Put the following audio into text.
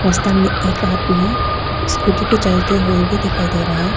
रस्ता में एक आदमी स्कूटी पर चलते हुए भी दिखाई दे रहा है।